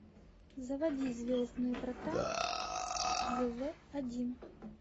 заводи звездные врата зв один